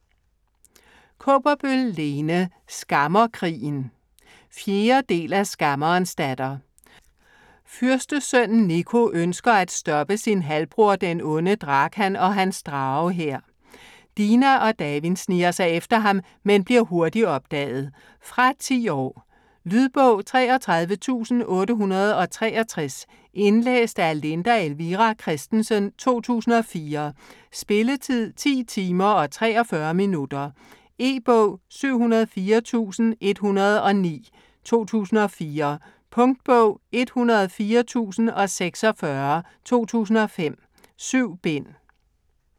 Kaaberbøl, Lene: Skammerkrigen 4. del af Skammerens datter. Fyrstesønnen Nico ønsker at stoppe sin halvbror, den onde Drakan, og hans dragehær. Dina og Davin sniger sig efter ham, men bliver hurtigt opdaget. Fra 10 år. Lydbog 33863 Indlæst af Linda Elvira Kristensen, 2004. Spilletid: 10 timer, 43 minutter. E-bog 704109 2004. Punktbog 104046 2005. 7 bind.